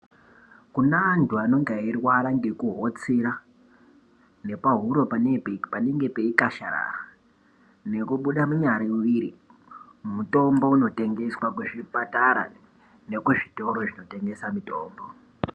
Kune antu anenge airwara ngekuhotsira ngepahuro panenge peikasharara nekubuda munyariviri, mutombo unotengeswa kuzvipatara nekuzvitoro zvinotengesa mutombo.